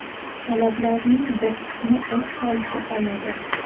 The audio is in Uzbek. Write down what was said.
Talablarning bir qismi o‘z holicha qoladi.